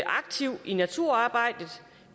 aktivt i naturarbejdet